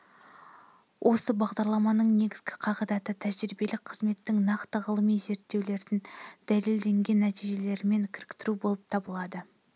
осы бағдарламаның негізгі қағидаты тәжірибелік қызметті нақты ғылыми зерттеулердің дәлелденген нәтижелерімен кіріктіру болып табылады